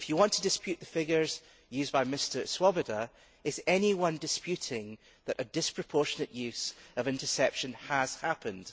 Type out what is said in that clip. If you want to dispute the figures used by Mr Swoboda, is anyone disputing that a disproportionate use of interception has happened?